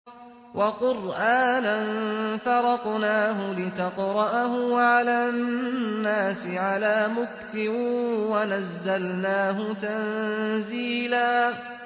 وَقُرْآنًا فَرَقْنَاهُ لِتَقْرَأَهُ عَلَى النَّاسِ عَلَىٰ مُكْثٍ وَنَزَّلْنَاهُ تَنزِيلًا